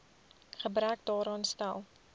gebrek daaraan stel